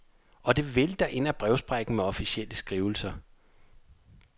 Og det vælter ind ad brevsprækken med officielle skrivelser.